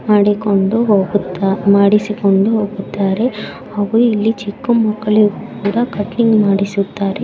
ಮಾಡಿಕೊಂಡು ಹೋಗುತ್ತಾ ಮಾಡಿಸಿಕೊಂಡು ಹೋಗುತ್ತಾರೆ ಹಾಗು ಇಲ್ಲಿ ಚಿಕ್ಕ ಮಕ್ಕಳಿಗೂ ಕೂಡ ಕಟ್ಟಿಂಗ್ ಮಾಡಿಸುತ್ತಾರೆ.